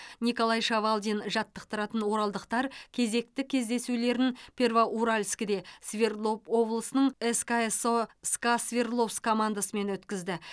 николай шавалдин жаттықтыратын оралдықтар кезекті кездесулерін первоуральскіде свердлов облысының сксо ска свердловск командасымен өткізді